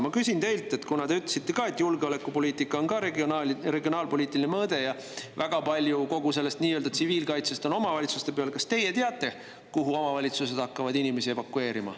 Ma küsin teilt, kuna te ütlesite, et julgeolekupoliitikal on ka regionaalpoliitiline mõõde, ja väga palju kogu sellest nii-öelda tsiviilkaitsest on omavalitsuste peal, kas teie teate, kuhu omavalitsused hakkavad inimesi evakueerima.